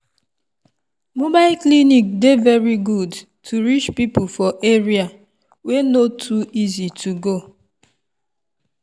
mobile clinic dey very good to reach people for area wey no too easy to go.